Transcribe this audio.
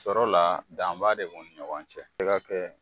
Sɔrɔ la, danba de b'u ni ɲɔgɔn cɛ . I ka kɛ